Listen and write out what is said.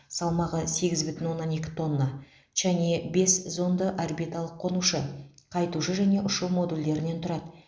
салмағы сегіз бүтін оннан екі тонна чанъэ бес зонды орбиталық қонушы қайтушы және ұшу модульдерінен тұрады